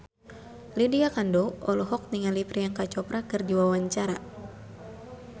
Lydia Kandou olohok ningali Priyanka Chopra keur diwawancara